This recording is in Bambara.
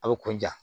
A bɛ kun ja